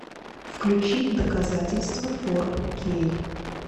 включи доказательства фор кей